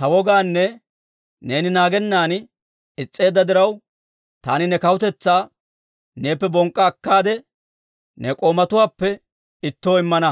ta wogaanne neeni naagennan is's'eedda diraw, taani ne kawutetsaa neeppe bonk'k'a akkaade, ne k'oomatuwaappe ittoo immana.